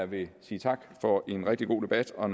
vil sige tak for en rigtig god debat og